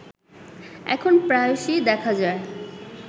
এখন প্রায়শই দেখা যায়